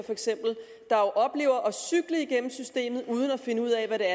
der jo oplever at cykle igennem systemet uden at finde ud af hvad